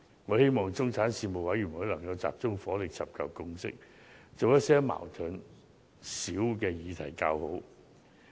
我希望中產事務委員會能集中火力尋求共識，以處理一些矛盾較少的議題為佳。